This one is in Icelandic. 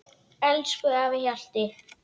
Elsku afi Hjalti.